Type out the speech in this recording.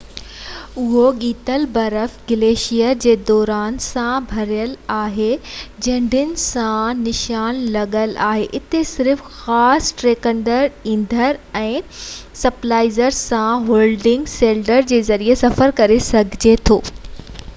اهو ڳتيل برف گليشيئر جي ڏارن سان ڀريل آهي ۽ جهنڊين سان نشان لڳل آهن اتي صرف خاص ٽريڪٽرن ايندهن ۽ سپلائيز سان هولنگ سليڊز جي ذريعي سفر ڪري سگهجي ٿو